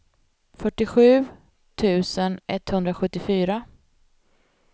fyrtiosju tusen etthundrasjuttiofyra